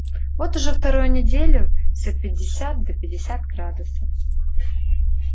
вот уже вторую неделю все пятьдесят да пятьдесят градусов